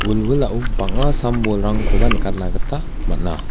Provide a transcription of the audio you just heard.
wilwilao bang·a sam-bolrangkoba nikatna gita man·a.